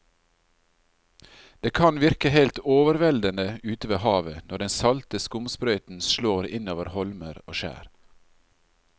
Det kan virke helt overveldende ute ved havet når den salte skumsprøyten slår innover holmer og skjær.